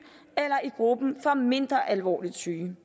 eller i gruppen for mindre alvorligt syge